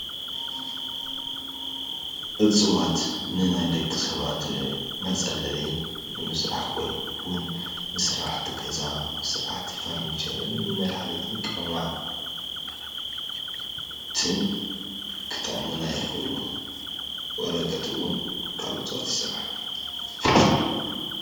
እፀዋት ንናይ ደቂ ሰባት መፅለሊ ንምስራሕ ወይ እውን ንስራሕቲ ገዛ፣ ንስራሕቲ ፈርኒቸርን ንመድሓኒት ቅመማን ክጠቕሙና ይኽእሉ፡፡ ወረቐት እውን ካብ እፀዋት ይስራሕ፡፡